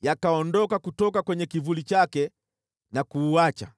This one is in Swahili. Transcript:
yakaondoka kutoka kwenye kivuli chake na kuuacha.